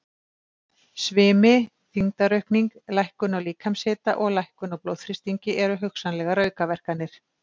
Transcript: Svimi, þyngdaraukning, lækkun á líkamshita og lækkun á blóðþrýstingi eru hugsanlegar aukaverkanir.